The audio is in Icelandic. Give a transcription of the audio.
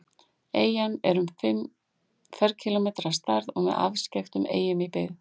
Eyjan er um fimm ferkílómetrar að stærð og með afskekktustu eyjum í byggð.